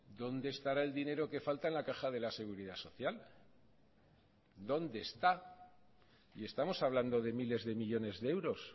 dónde estará el dinero que falta en la caja de la seguridad social dónde está y estamos hablando de miles de millónes de euros